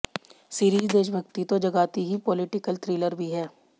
series देशभक्ति तो जगाती ही पॉलीटिकल थ्रिलर भी है